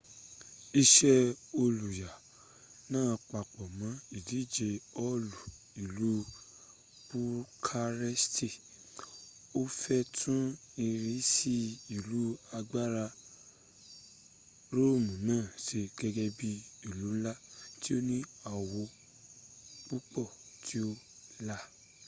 ise oluya naa papo mo idije hoolu ilu bukaresti ti o fe tun irisi ilu agbara roomu naa se gege bii ilu nla ti o ni awo pupo ti o la